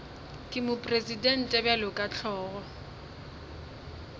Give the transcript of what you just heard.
ke mopresidente bjalo ka hlogo